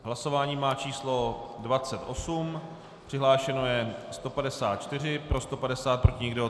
Hlasování má číslo 28, přihlášeno je 154, pro 150, proti nikdo.